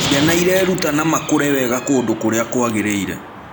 Ciana ireruta na makũre wega kũndũ kũrĩa kwagĩrĩire.